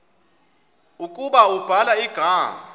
ukuba ubhala igama